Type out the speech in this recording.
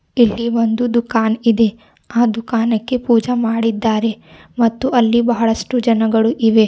ಇಲ್ಲಿ ಒಂದು ದುಕಾನ್ ಇದೆ ಆ ದುಕಾನ ಕ್ಕೆ ಪೂಜೆ ಮಾಡಿದ್ದಾರೆ ಮತ್ತು ಅಲ್ಲಿ ಬಹಳಷ್ಟು ಜನಗಳು ಇವೆ.